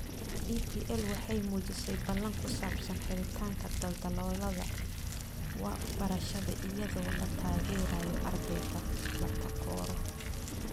DPL waxay muujisay ballan ku saabsan xiritaanka daldaloolada waxbarashada iyadoo la taageerayo ardayda la takooro.